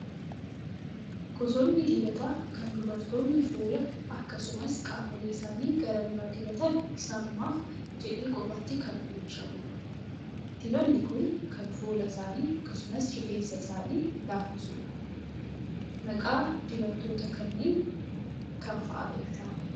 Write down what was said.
Gosoonni dibataa kan dubaroonni fuula akkasumas qaamolee isaanii gara bira dibatan isaanumaaf jedhee kophaatti kan oomishamudha. Dibatni kun kan fuula isaanii akkasumas rifensa isaanii laaffisudha. Maqaa dibatoota kanneen kam fa'aa beektaa?